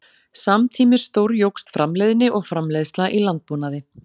Samtímis stórjókst framleiðni og framleiðsla í landbúnaði.